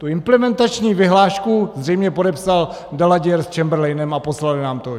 Tu implementační vyhlášku zřejmě podepsal Daladier s Chamberlainem a poslali nám to.